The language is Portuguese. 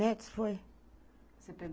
Métis, foi. Você